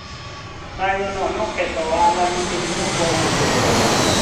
mgomo huwo uliathiri biashara kwa sababu hatukuuza